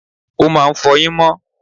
o máà ń fọyín mo